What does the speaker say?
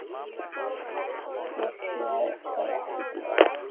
Ég sé það ekki gerast.